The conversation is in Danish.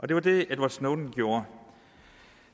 det var det edward snowden gjorde